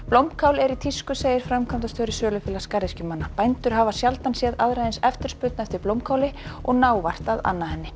blómkál er í tísku segir framkvæmdastjóri sölufélags garðyrkjumanna bændur hafa sjaldan séð aðra eins eftirspurn eftir blómkáli og ná vart að anna henni